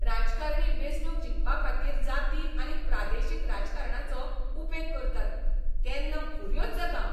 राजकारणी वेंचणूक जिखपाखातीर जाती आनी प्रादेशीक राजकारणाचो उपेग करतात तेन्ना फुर्योझ जातां हांव.